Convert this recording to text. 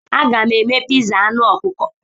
Aga m eme piza anụ ọkụkọ.